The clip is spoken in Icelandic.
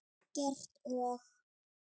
Eggert og